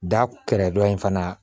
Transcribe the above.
Da kɛrɛ dɔn in fana